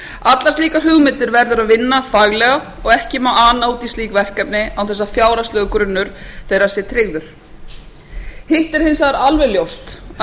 allar slíkar hugmyndir verður að vinna faglega og ekki má ana út í slík verkefni án þess að fjárhagslegur grunnur þeirra sé tryggður hitt er hins vegar alveg ljóst að